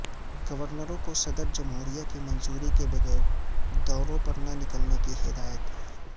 گورنروں کو صدر جمہوریہ کی منظوری کے بغیر دوروں پر نہ نکلنے کی ہدایت